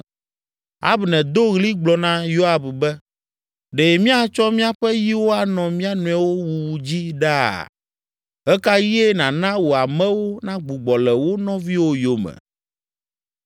Abner do ɣli gblɔ na Yoab be, “Ɖe míatsɔ míaƒe yiwo anɔ mía nɔewo wuwu dzi ɖaa? Ɣe ka ɣie nàna wò amewo nagbugbɔ le wo nɔviwo yome?”